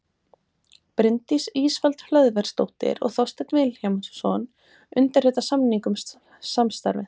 bryndís ísfold hlöðversdóttir og þorsteinn vilhjálmsson undirrita samning um samstarfið